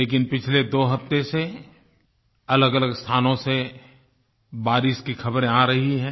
लेकिन पिछले दो हफ़्ते से अलगअलग स्थानों से बारिश की ख़बरें आ रही हैं